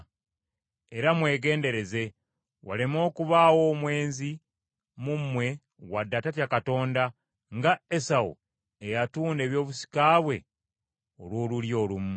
Era mwegendereze waleme okubaawo omwenzi mu mmwe wadde atatya Katonda nga Esawu eyatunda ebyobusika bwe olw’olulya olumu.